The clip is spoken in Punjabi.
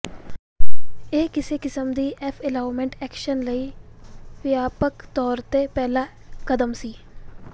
ਇਹ ਕਿਸੇ ਕਿਸਮ ਦੀ ਐਫ ਐਲੌਮਟ ਐਕਸ਼ਨ ਲਈ ਵਿਆਪਕ ਤੌਰ ਤੇ ਪਹਿਲਾ ਕਦਮ ਸੀ